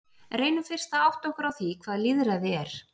Reynum fyrst að átta okkur á því hvað lýðræði er.